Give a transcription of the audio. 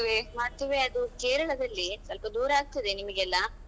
ಮದುವೆ ಅದು ಕೇರಳದಲ್ಲಿ. ಸ್ವಲ್ಪ ದೂರ ಆಗ್ತದೆ ನಿಮ್ಗೆಲ್ಲಾ.